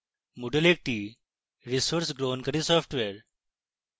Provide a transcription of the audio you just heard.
moodle একটি resource গ্রহণকারী software